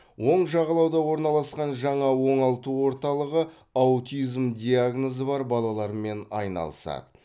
оң жағалауда орналасқан жаңа оңалту орталығы аутизм диагнозы бар балалармен айналысады